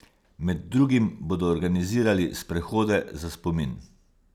Med drugim bodo organizirali sprehode za spomin.